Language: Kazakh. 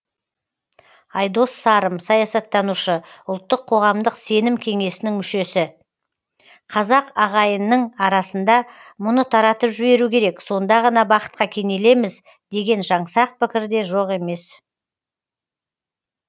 айдос сарым саясаттанушы ұлттық қоғамдық сенім кеңесінің мүшесі қазақ ағайынның арасында мұны таратып жіберу керек сонда ғана бақытқа кенелеміз деген жаңсақ пікір де жоқ емес